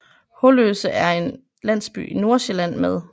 Holløse er en landsby i Nordsjælland med